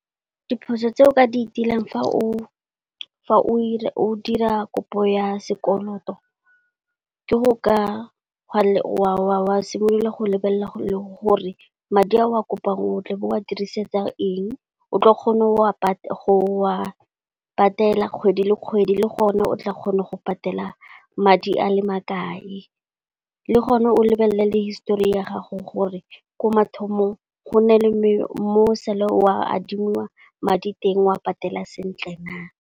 Diphoso tse o ka di tilang fa o dira kopo ya sekoloto, ke go ka simolola go lebelela le gore madi a o a kopang o tle o bo o a dirisetsang eng, o tla kgona wa go patela kgwedi le kgwedi le gone o tla kgona go patela madi a le makae. Le gone o lebelele le histori ya gago gore ko mathomong go nne le mo sa le o a adimiwa madi teng wa patela sentle na.